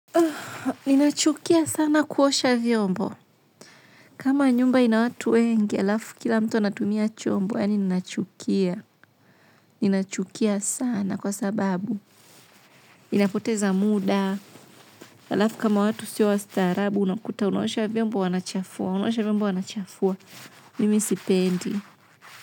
Ninachukia sana kuosha vyombo. Kama nyumba ina watu wengi, alafu kila mtu anatumia chombo, yaani ninachukia. Ninachukia sana kwa sababu, ninapoteza muda. Alafu kama watu sio wastaarabu unakuta unaosha vyombo wanachafua mimi sipendi.